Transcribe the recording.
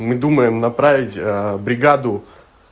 мы думаем направить бригаду